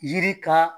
Yiri ka